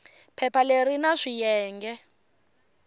phepha leri ri na swiyenge